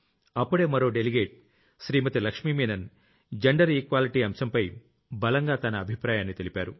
అప్పుడే మరో delegate Shrimati Lakshmi Menon gender Equalityఅంశంపై బలంగా తన అభిప్రాయాన్ని తెలిపారు